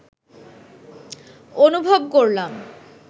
অনুভব করলাম